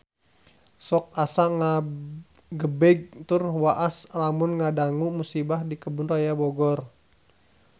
Sok asa ngagebeg tur waas lamun ngadangu musibah di Kebun Raya Bogor